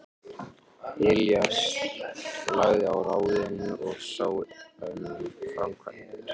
Elías lagði á ráðin og sá um framkvæmdir.